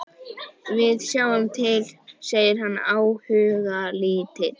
Við sjáum til, segir hann áhugalítill.